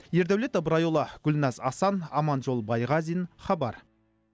ердәулет ыбырайұлы гүлназ асан аманжол байғазин хабар